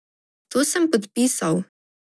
To sem podpisal.